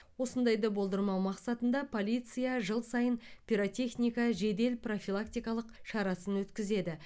осындайды болдырмау мақсатында полиция жыл сайын пиротехника жедел профилактикалық шарасын өткізеді